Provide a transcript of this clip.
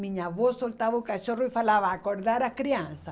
Minha avó soltava o cachorro e falava, acordar a criança.